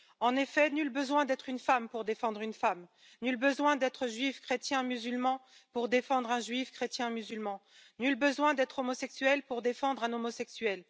En effet, nul besoin d'être une femme pour défendre une femme, nul besoin d'être juif, chrétien, musulman pour défendre un juif, chrétien, musulman, nul besoin d'être homosexuel pour défendre un homosexuel.